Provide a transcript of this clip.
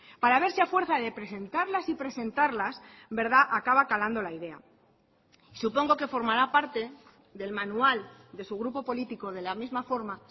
para ver si a fuerza de presentarlas y presentarlas acaba calando la idea supongo que formará parte del manual de su grupo político de la misma forma